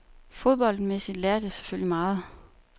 Fodboldmæssigt lærte jeg selvfølgelig meget.